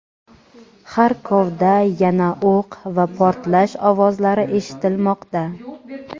Xarkovda yana o‘q va portlash ovozlari eshitilmoqda.